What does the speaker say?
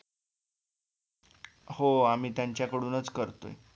हो आम्ही त्यांच्या कडूनच करतोय